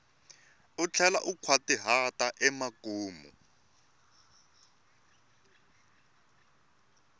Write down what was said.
u tlhela u nkhwatihata emakumu